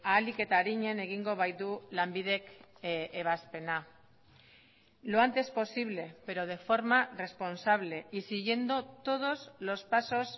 ahalik eta arinen egingo baitu lanbidek ebazpena lo antes posible pero de forma responsable y siguiendo todos los pasos